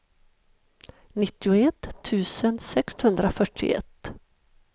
nittioett tusen sexhundrafyrtioett